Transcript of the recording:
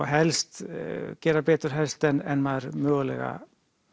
helst gera betur helst en maður mögulega